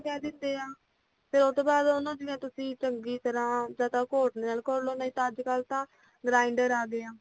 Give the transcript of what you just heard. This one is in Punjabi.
ਕਹਿ ਦੇਂਦੇ ਹਾਂ ਤੇ ਓਹਤੋਂ ਬਾਧ ਓਨੂੰ ਜਿਵੇ ਤੁਸੀਂ ਚੰਗੀ ਤਰਾਂ ਜਾਂਦਾ ਕੋਟ ਲੈਣਾ ਕੋਲੋਂ ਨਹੀਂ ਅੱਜ ਕਲ ਤਾ grinder ਆਗੇ ਹਾ